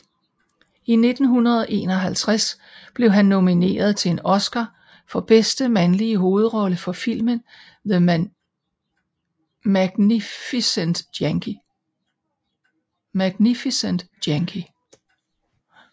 I 1951 blev han nomineret til en Oscar for bedste mandlige hovedrolle for filmen The Magnificent Yankee